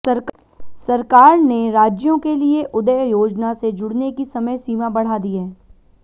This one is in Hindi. सरकार ने राज्यों के लिए उदय योजना से जुड़ने की समय सीमा बढ़ा दी है